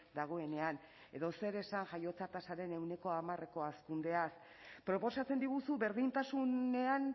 dagoenean edo zer esan jaiotza tasaren ehuneko hamareko hazkundeaz proposatzen diguzu berdintasunean